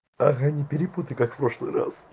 ага не перепутай как прошлый раз